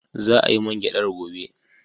Za a yi man gyadar gobe.